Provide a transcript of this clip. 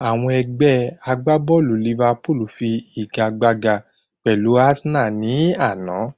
Àwọn Ẹgbẹ́ agbábọ̀lù Liverpool fi igagbága pẹ̀lú Arsenal ní àná